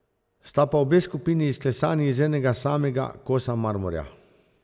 Sta pa obe skupini izklesani iz enega samega kosa marmorja.